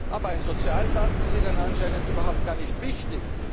schwach zwar, aber immerhin. Aber ein Sozialpakt ist Ihnen anscheinend